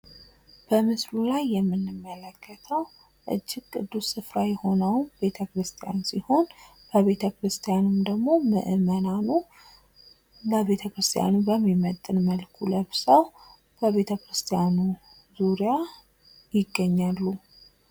በምስሉ ላይ የምንመለከተው እጅግ ቅዱስ ስፍራ የሆነውን ቤተክርስቲያን ሲሆን፤ ምእመናኑም ለቤተክርስቲያኑ በሚመጥን መልኩ ለብሰው በዙሪያው ይታያሉ።